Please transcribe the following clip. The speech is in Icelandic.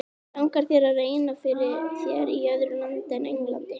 Langar þér að reyna fyrir þér í öðru landi en Englandi?